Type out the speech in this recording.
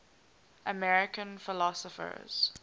american philosophers